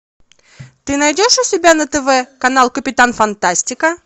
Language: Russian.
ты найдешь у себя на тв канал капитан фантастика